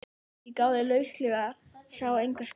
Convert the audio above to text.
Ég gáði lauslega, sá enga sprungu.